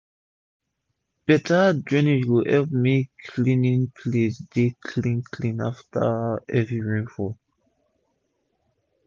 better drainage go epp make d cleaning place dey clean clean after heavy rain fall